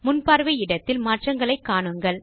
முன்பார்வை இடத்தில் மாற்றங்களை காணுங்கள்